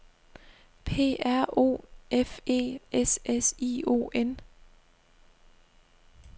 P R O F E S S I O N